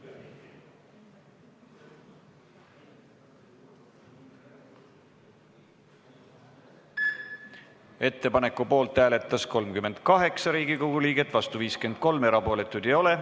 Hääletustulemused Ettepaneku poolt hääletas 38 Riigikogu liiget, vastu oli 53, erapooletuid ei ole.